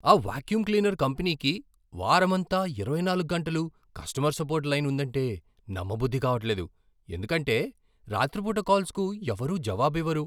ఆ vacuum cleaner కంపెనీకి వారమంతా, ఇరవై నాలుగ్గంటలూ కస్టమర్ సపోర్ట్ లైన్ ఉందంటే నమ్మబుద్ధి కావట్లేదు ఎందుకంటే రాత్రిపూట కాల్స్కు ఎవరూ జవాబు ఇవ్వరు.